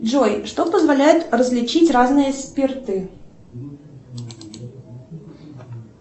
джой что позволяет различить разные спирты